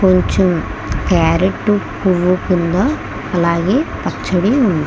కొంచెం క్యారెట్ పువ్వు కింద అలాగే పచ్చడి ఉంది.